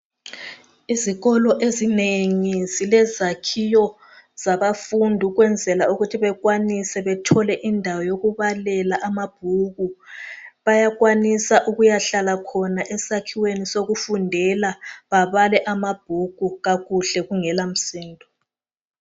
Izikolo ezinengi zilezakiwo zabafundi ukwenzela ukuthi bekwanise bethole indawo yokubalela amabhuku bayakwanisa ukuyahlala khona esakiweni sokufundela babale amabhuku kakuhle kungela msindo.